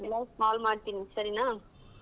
ಎಲ್ಲಾರ್ಗು call ಮಾಡ್ತೇನಿ ಸರಿನಾ?